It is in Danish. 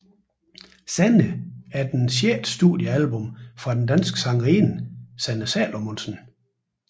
Sanne er det sjette studiealbum fra den danske sangerinde Sanne Salomonsen